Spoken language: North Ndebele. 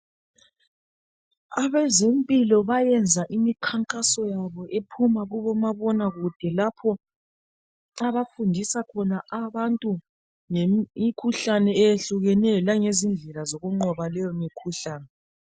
Abezempilo bayenza imikhankaso yabo ephuma kubomabonakude lapho abafundisa khona abantu ngemikhuhlane eyehlukeneyo langezindlela zokunqoba leyo mikhuhlane.